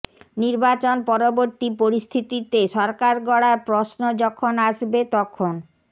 নির্বাচন পরবর্তী পরিস্থিতিতে সরকার গড়ার প্রশ্ন যখন আসবে তখন